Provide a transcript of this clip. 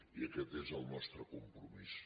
i aquest és el nostre compromís